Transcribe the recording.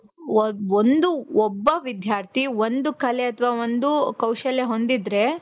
ಒಂದು ಒಬ್ಬ ವಿಧ್ಯಾರ್ಥಿ, ಒಂದು ಕಲೆ ಅತವ ಒಂದು ಕೌಶಲ್ಯ ಹೊಂದಿದ್ರೆ